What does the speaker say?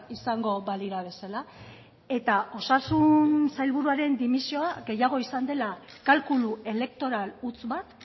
izango balira bezala eta osasun sailburuaren dimisioa gehiago izan dela kalkulu elektoral huts bat